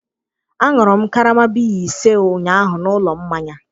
añụrụ m karama biya ise ụnyahụ na ụlọ mmanya